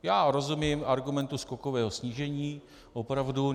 Já rozumím argumentu skokového snížení, opravdu.